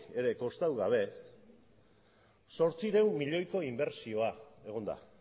ere kostatu gabe zortziehun milioiko inbertsioa egon da